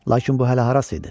Lakin bu hələ harası idi?